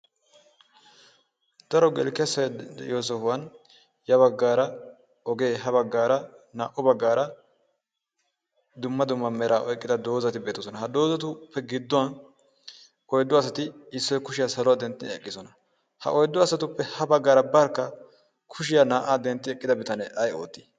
daro gelikesse de'iyo sohuwan ya baggaara ogee ha baggaara naa"u baggaara dumma dumma meraa oiqqida doozati beetoosona. ha doozatuppe gidduwan oiddo asati issoi kushiyaa saluwaa dentti eqqisona ha oiddo asatuppe ha baggaara barkka kushiyaa naa"aa dentti eqqida bitanee ay oottii?